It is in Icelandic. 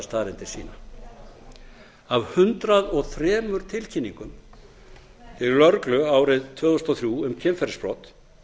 staðreyndir sýna af hundrað og þrjú tilkynningum til lögreglu árið tvö þúsund og þrjú um kynferðisbrot